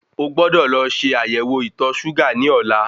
O gbọ́dọ̀ lọ ṣe ayẹwo ìtọ̀ ṣúgà ní ọ̀la